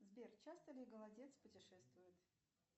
сбер часто ли голодец путешествует